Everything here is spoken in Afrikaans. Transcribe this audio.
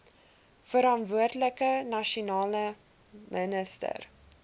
verantwoordelike nasionale minister